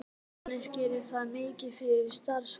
Jóhannes: Gerir þetta mikið fyrir starfsfólkið?